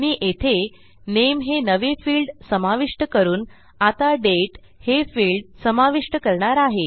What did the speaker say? मी येथे नामे हे नवे फिल्ड समाविष्ट करून आता दाते हे फिल्ड समाविष्ट करणार आहे